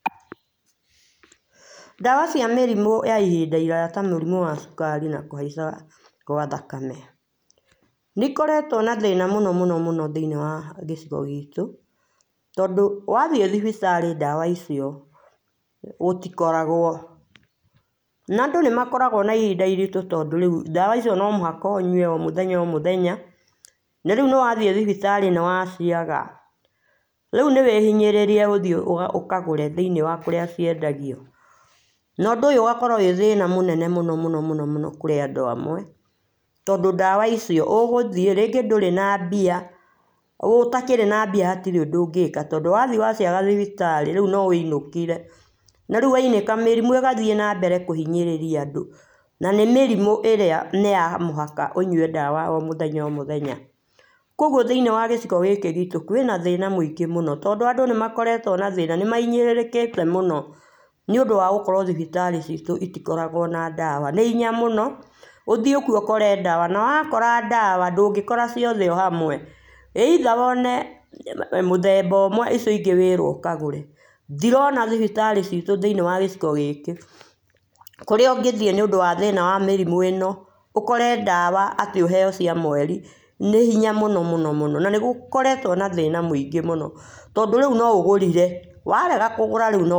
Ndawa cia mĩrimũ ya ihĩnda ĩraya ta mũrimũ wa cũkari na kũhaĩca gwa thakame , nĩikoretwo na thĩna mũno mũno mũno thĩinĩ wa gĩcigo gitũ tondũ wa thiĩ thibitarĩ ndawa icio gũtikoragwo na andũ nĩmakoragwo na ihĩnda irĩtũ tondũ ndawa icio no mũhaka ũnyũe o mũthenya na rĩũ nĩwathiĩ thibitari nĩwaciaga rĩũ nĩ wĩhinyĩrĩrie ũthiĩ ũkagũre thĩinĩ wa kũrĩa ciendagio na ũndũ ũyũ ũgakorwo wĩ thina mũno mũno mũno kũrĩ andũ amwe ondũ ndawa icio ũgũthiĩ rĩngĩ ndũrĩ na mbia ũtakĩrĩ na mbia hatĩrĩ ũndũ ũngĩka na ondũ wathiĩ wa ciaga rĩũ no wĩinũkĩre na rĩũ wainũka mĩrimũ ĩgathiĩ na mbere na kũhinyĩrĩria andũ na nĩ mĩrimũ ĩrĩa nĩ yamũhaka ũnyũe ndawa o mũthenya o mũthenya kũogũo thĩinĩ wa gĩcigo gĩkĩ gitũ kwĩna thĩna mũinĩ mũno tondũ adũ nĩmakoretwo na na thĩna nĩmahinyĩrĩrĩkĩte mũno nĩũndũ wa gũkorwo thibitari citũ ĩtikoragwo na ndawa nĩ hinya mũno ũthiĩ kũo ũkore ndawa na wakora ndawa ndũngĩ kora ciothe hamwe either wone mũthemba ũmwe icio ingĩ wĩrwo ũkagũre ndĩrona thibitarĩ citũ thĩinĩ wa gĩcigo gĩkĩ ĩrĩa ũngĩthiĩ nĩũndũ wa mathĩna ma mĩrimũ ĩno ũkore ndawa ũthiĩ ũheo cia mwerĩ nĩ hinya mũno mũno na nĩgũkoretwo na thĩna mũingĩ mũno tondũ rĩũ no ũgũrire warega kũgũra.